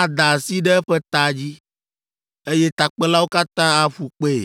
ada asi ɖe eƒe ta dzi, eye takpelawo katã aƒu kpee.